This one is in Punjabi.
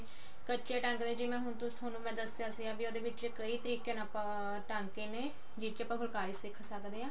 ਕੱਚੇ ਟਾਂਕੇ ਦੇ ਵਿੱਚ ਜਿਵੇਂ ਹੁਣ ਥੋਨੂੰ ਮੈਂ ਦੱਸਿਆ ਸੀ ਕੀ ਉਹਦੇ ਵਿੱਚ ਕਈ ਤਰੀਕੇ ਨਾਲ ਆਪਾਂ ਟਾਂਕੇ ਨੇ ਜਿਹਦੇ ਨਾਲ ਆਪਾਂ ਫੁਲਕਾਰੀ ਸਿੱਖ ਸਕਦੇ ਹਾਂ